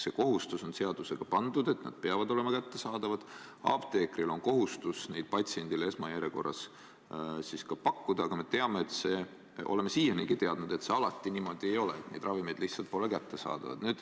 See kohustus on seadusega pandud, et need peavad olema kättesaadavad, apteekril on kohustus neid patsiendile esmajärjekorras ka pakkuda, aga me oleme siianigi teadnud, et see alati niimoodi ei ole, need ravimid lihtsalt pole kättesaadavad.